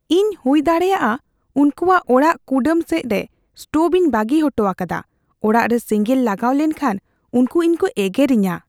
ᱤᱧ ᱦᱩᱭᱫᱟᱲᱮᱭᱟᱜᱼᱟ ᱩᱱᱠᱩᱣᱟᱜ ᱚᱲᱟᱜ ᱠᱩᱰᱟᱹᱢ ᱥᱮᱡ ᱨᱮ ᱥᱴᱳᱵᱷ ᱤᱧ ᱵᱟᱹᱜᱤ ᱚᱴᱚ ᱟᱠᱟᱫᱟ ᱾ ᱚᱲᱟᱜ ᱨᱮ ᱥᱮᱸᱜᱮᱸᱞ ᱞᱟᱜᱟᱣ ᱞᱮᱱᱠᱷᱟᱱ ᱩᱱᱠᱩ ᱤᱧ ᱠᱚ ᱮᱜᱮᱨᱤᱧᱟᱹ ᱾